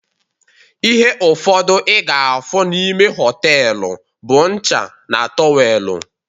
Ihe ụfọdụ ị ga-afụ n'ime họtelu bụ ncha na tọwelu